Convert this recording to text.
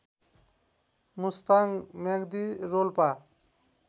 Mustang Myagdi Rolpa